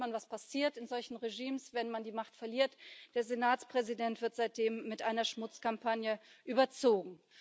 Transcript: Und dann sieht man, was passiert in solchen Regimes, wenn man die Macht verliert Der Senatspräsident wird seitdem mit einer Schmutzkampagne überzogen.